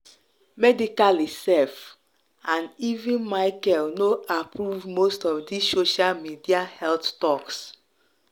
medically sef and even micheal no approvemost of this social media health talks